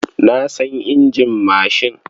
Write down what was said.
Na san injin mashin.